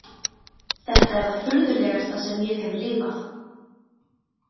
Þetta er það furðulegasta sem ég hef lifað.